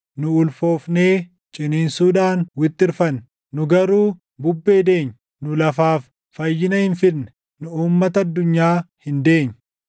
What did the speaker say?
Nu ulfoofnee, ciniinsuudhaan wixxirfanne; nu garuu bubbee deenye. Nu lafaaf fayyina hin fidne; nu uummata addunyaa hin deenye.